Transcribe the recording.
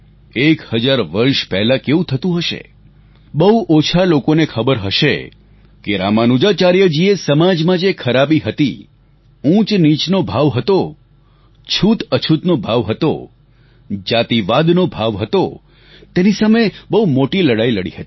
એક હજાર વર્ષ પહેલાં કેવું થતું હશે બહુ ઓછા લોકોને ખબર હશે કે રામાનુજાચાર્યજીએ સમાજમાં જે ખરાબી હતી ઉંચનીચનો ભાવ હતો છૂતઅછૂતનો ભાવ હતો જાતિવાદનો ભાવ હતો તેની સામે બહુ મોટી લડાઈ લડી હતી